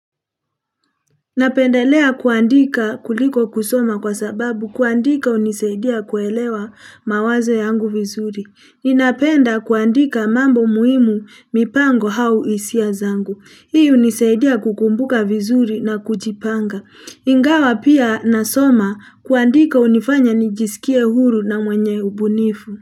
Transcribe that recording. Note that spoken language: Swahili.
Napendelea kuandika kuliko kusoma kwa sababu kuandika unisaidia kuelewa mawazo yangu vizuri ninapenda kuandika mambo muhimu mipango au hisia zangu hii uniseidia kukumbuka vizuri na kujipanga ingawa pia nasoma kuandika unifanya nijisikie huru na mwenye ubunifu.